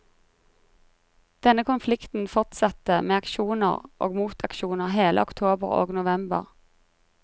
Denne konflikten fortsatte med aksjoner og motaksjoner hele oktober og november.